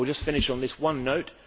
I will just finish on this one note.